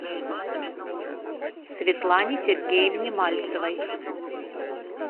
светлане сергеевне мальцевой